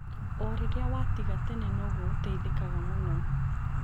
O rĩrĩa watiga tene noguo ũteithekaga mũno.